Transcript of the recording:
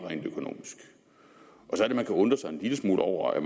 så er det at man kan undre sig en lille smule over at